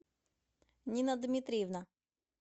нина дмитриевна